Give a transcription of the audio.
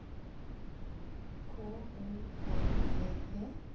K O N G E